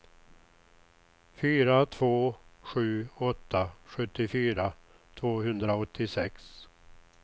fyra två sju åtta sjuttiofyra tvåhundraåttiosex